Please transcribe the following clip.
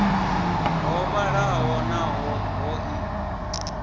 ho vhalaho naho ho ḓi